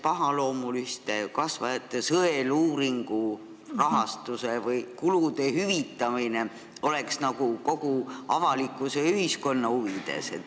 Pahaloomuliste kasvajate sõeluuringu kulude hüvitamine oleks ju nagu avalikkuse ja ühiskonna huvides.